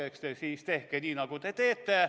Eks te siis tehke nii, nagu te teete.